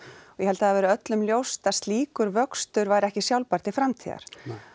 og ég held að það hafi öllum verið ljóst að slíkur vöxtur væri ekki sjálfbær til framtíðar nei